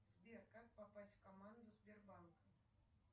сбер как попасть в команду сбербанка